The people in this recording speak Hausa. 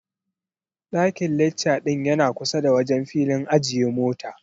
Daiƙn lecca ɗin yana kusa da wajen filin ajiye mota.